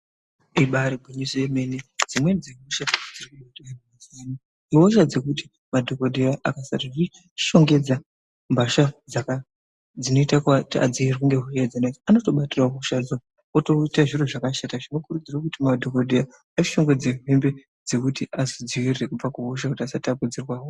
Ibaari gwinyiso remene dzimweni dzehosha dziri kubata antu mazuwa ano ihosha dzekuti madhokodheya akasadzishongedza mbatya dzinoite kuti adziirirwe anotobatirawo hosha otoite zviro zvakashata. Tinokurudzira kuti madhokodheya ashonge hembe dzekuti anodzidzivirira kuzvirwere kuti vasatapukirwa.